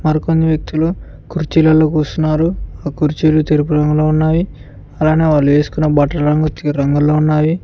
మరి కొందరు వ్యక్తులు కుర్చీలలో కూసున్నారు ఆ కుర్చీలు తెలుపు రంగులో ఉన్నాయి అలానే వాళ్ళు వేసుకున బట్టల రంగు రంగులో ఉన్నాయి.